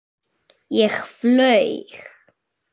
Ég flaug.